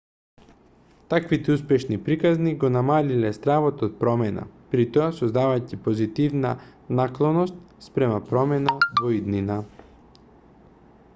таквите успешни приказни го намалиле стравот од промена притоа создавајќи позитивна наклоност спрема промена во иднина